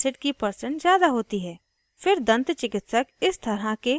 * ठीक से ब्रश न करना